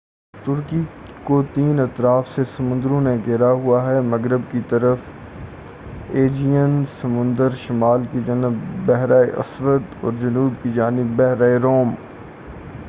ترکی کو تین اطراف سے سمندروں نے گھیرا ہُوا ہے مغرب کی طرف ایجیئن سمندر شُمال کی جانب بحراسود اور جنوب کی جانب بحیرہ روم